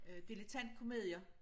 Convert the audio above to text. Øh dilettantkomedier